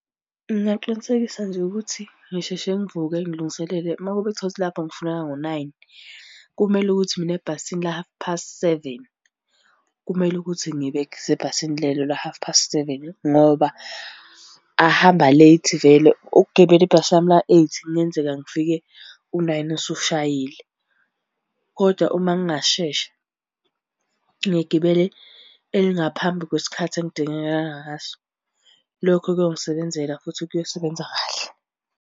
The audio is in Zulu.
Ngingaqinisekisa nje ukuthi ngisheshe ngivuke ngilungiselele, uma kube uthole ukuthi lapho ngifunakala ngo-nine kumele ukuthi mina ebhasini la-half past seven, kumele ukuthi ngibesebhasini lelo la-half past seven, ngoba ahamba late vele. Ukugibela ibhasi lami la-eight kungenzeka ngifike u-nine usushayile, kodwa uma ngingashesha ngigibele elingaphambi kwesikhathi engidingeka ngaso. Lokho kuyongisebenzela futhi kuyosebenza kahle.